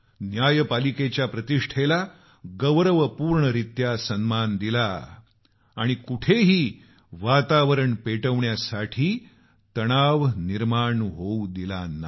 न्यायपालिकेच्या प्रतिष्ठेला गौरवपूर्णरित्या सन्मान दिला आणि कुठेही वातावरण पेटवण्यास तणाव पैदा होऊ दिला नाही